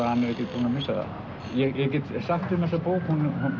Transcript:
hann er ekkert búinn að missa það ég get sagt um þessa bók að